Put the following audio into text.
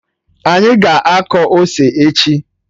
Anyị ga-akọ ose echi